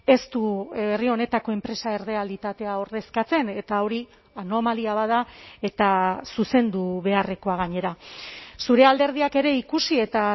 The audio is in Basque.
ez du herri honetako enpresa errealitatea ordezkatzen eta hori anomalia bat da eta zuzendu beharrekoa gainera zure alderdiak ere ikusi eta